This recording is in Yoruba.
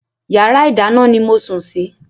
Yàrá ìdáná ni mo sùn sí.